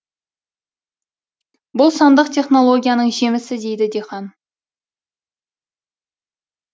бұл сандық технологияның жемісі дейді диқан